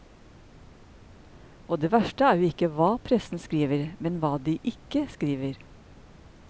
Og det verste er jo ikke hva pressen skriver, men hva de ikke skriver.